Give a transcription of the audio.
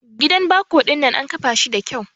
Gidan bako dinnan an kafa shi da kyau.